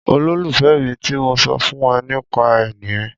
Ololufẹ mí ti mo so fún e ni pa re nìyí